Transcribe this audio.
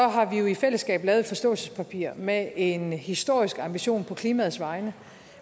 har vi jo i fællesskab lavet et forståelsespapir med en historisk ambition på klimaets vegne